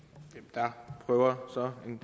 herre høre om